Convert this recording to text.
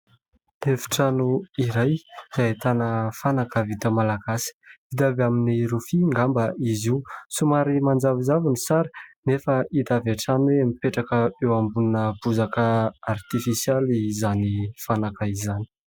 Efitrano iray ahitana fanaka vita malagasy, vita avy amin'ny rofia angamba izy io, somary manjavozavo ny sary nefa hita avy hatrany hoe mipetraka eo ambonina bozaka artifisialy izany fanaka izany.